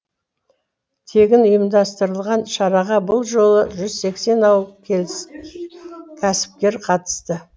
тегін ұйымдастырылған шараға бұл жолы жүз сексен ауыл кәсіпкері қатысты